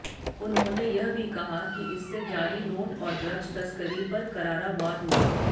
उन्होंने यह भी कहा कि इससे जाली नोट और ड्रग्स तस्करी पर करारा वार हुआ